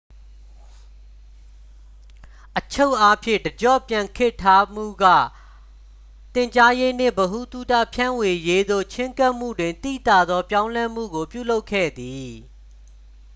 အချုပ်အားဖြင့် တစ်ကျော့ပြန်ခေတ်ထမှုက သင်ကြားရေးနှင့် ဗဟုသုတ ဖြန့်ဝေရေးသို့ ချဉ်းကပ်မှုတွင် သိသာသော ပြောင်းလဲမှုကို ပြုလုပ်ခဲ့သည်